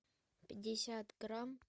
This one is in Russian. пятьдесят грамм